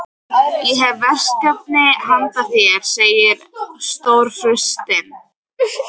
Ég hef verkefni handa þér segir Stórfurstinn.